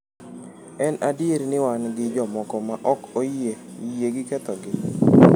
"""En adier ni wan gi ji moko ma ok oyie yie gi kethogi."